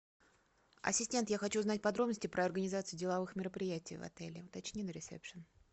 ассистент я хочу знать подробности про организации деловых мероприятий в отеле уточни на ресепшн